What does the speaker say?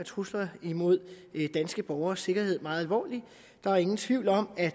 trusler imod danske borgeres sikkerhed meget alvorligt der er ingen tvivl om at